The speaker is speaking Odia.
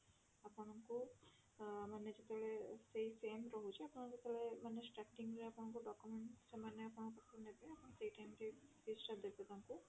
ଆପଣଙ୍କୁ ଆଁ ମାନେ ଯେତେବେଳେ ସେଇ same ରହୁଛି ଆପଣ ଯେତେବେଳେ ମାନେ starting ରେ ମାନେ ଆପଣଙ୍କୁ document ସେମାନେ ଆପଣଙ୍କ ପାଖରୁ ନେବେ ଆପଣ ସେଇ time ରେ fees ଟା ଦେବେ ତାଙ୍କୁ